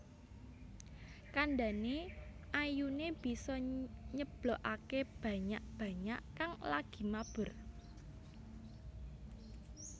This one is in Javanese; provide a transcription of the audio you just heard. Kandhane ayune bisa nyeblokake banyak banyak kang lagi mabur